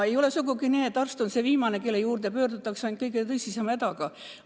Ei ole sugugi nii, et arst on see viimane, kelle poole pöördutakse, kui juba kõige tõsisem häda käes.